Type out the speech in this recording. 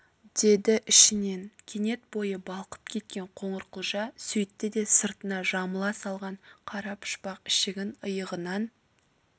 деді ішінен кенет бойы балқып кеткен қоңырқұлжа сөйтті де сыртына жамыла салған қара пұшпақ ішігін иығынан